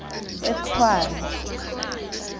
etshwane